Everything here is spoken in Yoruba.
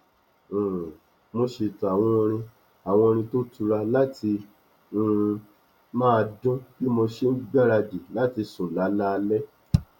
um mo ṣètò àwọn orin àwọn orin tó tura láti um máa dún bí mo ṣe n gbáradì láti sùn lálaalẹ